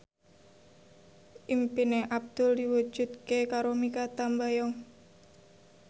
impine Abdul diwujudke karo Mikha Tambayong